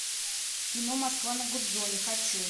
кино москва на гудзоне хочу